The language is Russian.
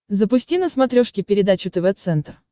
запусти на смотрешке передачу тв центр